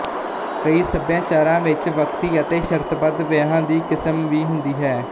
ਕਈ ਸਭਿਆਚਾਰਾਂ ਵਿੱਚ ਵਕਤੀ ਅਤੇ ਸ਼ਰਤਬੱਧ ਵਿਆਹਾਂ ਦੀ ਕਿਸਮ ਵੀ ਹੁੰਦੀ ਹੈ